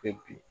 Kɛ bi